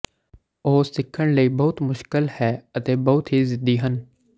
ਉਹ ਸਿੱਖਣ ਲਈ ਮੁਸ਼ਕਲ ਹੈ ਅਤੇ ਬਹੁਤ ਹੀ ਜ਼ਿੱਦੀ ਹਨ